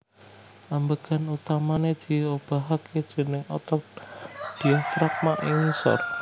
Ambegan utamané diobahké déning otot diafragma ing ngisor